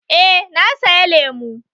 Eh na saya lemu